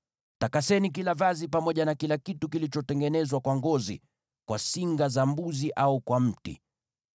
Takaseni kila vazi pamoja na kila kitu kilichotengenezwa kwa ngozi, kwa singa za mbuzi au kwa mti.”